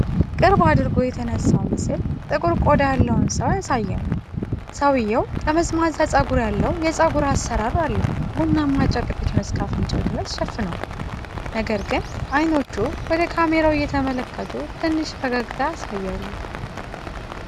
ቅርብ አድርጎ የተነሳው ምስል ጥቁር ቆዳ ያለውን ሰው ያሳያል። ሰውየው ጠመዝማዛ ፀጉር ያለው የፀጉር አሠራር አለው። ቡናማ ጨርቅ ፊቱን እስከ አፍንጫው ድረስ ሸፍኗል፣ ነገር ግን ዓይኖቹ ወደ ካሜራው እየተመለከቱ ትንሽ ፈገግታ ያሳያሉ።